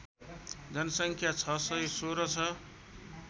जनसङ्ख्या ६१६ छ